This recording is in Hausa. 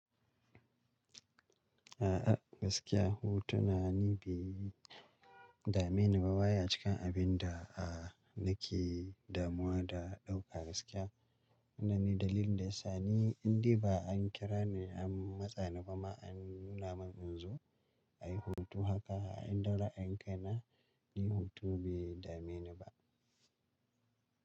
A'a, gaskiya hutu na ni bi dami na ba waya a cikin abin da a nake damuwa da ɗauka gaskiya. Wannan ne dalilin da ya sa ni inda ba an kira ni an matsa ni ba ma an nuna min in zo, ayi hutu haka a inda ra'in kai na yin hutu bai dame ni ba.